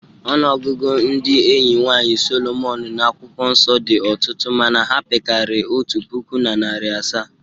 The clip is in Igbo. Ọnụọgụgụ ndị enyi nwaanyị Solomon n’akwụkwọ nsọ dị ọtụtụ mana ha pekarịrị otu puku na narị asaa.